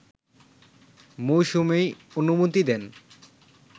মৌসুমী অনুমতি দেন